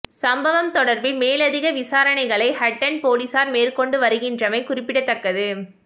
சம்பவம் தொடர்பில் மேலதிக விசாரனைகளை ஹட்டன் பொலிஸார் மேற்கொண்டு வருகின்றமை குறிப்பிடதக்கது